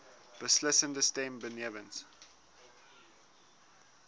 beslissende stem benewens